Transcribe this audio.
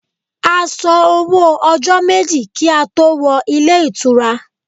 A san owó ọjọ́ méjì kí á tó wọ ilé ìtura.